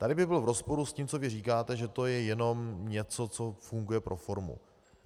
Tady by byl v rozporu s tím, co vy říkáte, že to je jenom něco, co funguje pro formu.